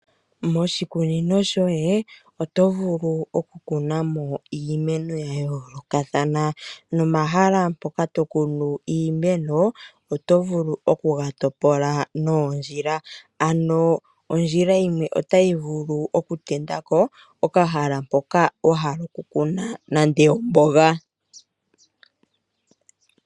Moshikunino shoye oto vulu okukuna mo iimeno ya yoolokathana, nomahala mpoka tokunu iimeno, oto vulu okuga topola noondjila. Ano ondjila yimwe otayi vulu okutendako okahala mpoka wahala okukuna, nande omboga.